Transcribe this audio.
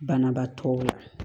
Banabaatɔw la